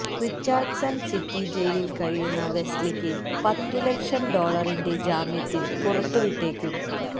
Richardson city ജയിലില് കഴിയുന്ന വെസ്ലിക്ക് പത്തു ലക്ഷം ഡോളറിന്റെ ജാമ്യത്തില് പുറത്തുവിട്ടേക്കും